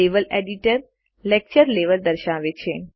level editor lecture level દર્શાવે છે